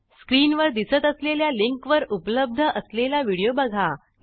स्क्रीनवर दिसत असलेल्या लिंकवर उपलब्ध असलेला व्हिडिओ बघा